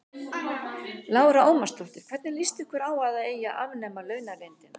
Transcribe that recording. Lára Ómarsdóttir: Hvernig lýst ykkur á að það eigi að afnema launaleyndina?